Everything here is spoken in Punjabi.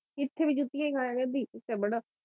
ਇੱਥੇ ਵੀ ਜੁੱਤੀਆਂ ਈ ਖਾਇਆ ਕਰਦੀ ਇੱਥੇ ਬੜਾ